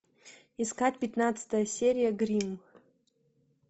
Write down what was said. искать пятнадцатая серия гримм